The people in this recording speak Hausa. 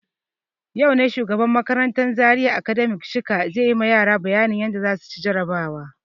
Yau ne shugaban makarantan Zaria Academy Shika zai yi ma yara bayanin yadda za su ci jarabawa.